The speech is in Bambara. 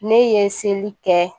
Ne ye n seli kɛ